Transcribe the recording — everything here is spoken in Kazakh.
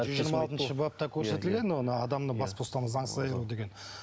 жиырма алтыншы бапта көрсетілген оны адамды бас бостандығынан заңсыз айыру деген